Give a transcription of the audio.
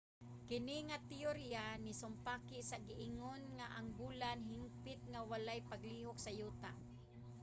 kini nga teyorya nisumpaki sa giingon nga ang bulan hingpit nga walay paglihok sa yuta